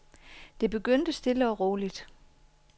Det begyndte stille og roligt.